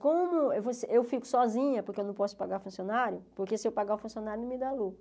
Como você eu fico sozinha, porque eu não posso pagar funcionário, porque se eu pagar o funcionário não me dá lucro.